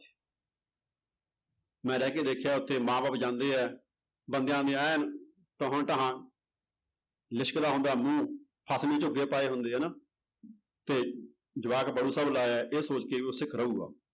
ਮੈਂ ਰਹਿ ਕੇ ਦੇਖਿਆ ਉੱਥੇ ਮਾਂ ਬਾਪ ਜਾਂਦੇ ਹੈ ਬੰਦਿਆਂ ਦੇ ਐਨ ਲਿਸ਼ਕਦਾ ਹੁੰਦਾ ਮੂੰਹ ਪਾਏ ਹੁੰਦੇ ਆ ਨਾ ਤੇ ਜਵਾਕ ਲਾਇਆ ਹੈ ਇਹ ਸੋਚ ਕੇ ਵੀ ਉਹ ਸਿੱਖ ਰਹੇਗਾ